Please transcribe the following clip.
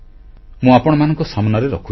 ମୁଁ ଆପଣମାନଙ୍କ ସାମନାରେ ରଖୁଛି